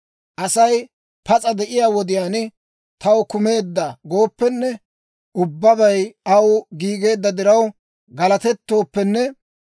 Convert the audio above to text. Asay pas'a de'iyaa wodiyaan, «Taw kumeedda» gooppenne, ubbabay aw giigeedda diraw galatettooppenne,